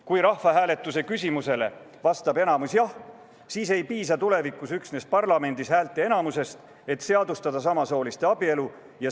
Kui rahvahääletuse küsimusele vastab enamus jah, siis ei piisa tulevikus üksnes parlamendi häälteenamusest, et seadustada samasooliste abielu.